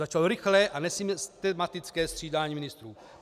Začalo rychlé a nesystematické střídání ministrů.